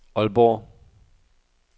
Aalborg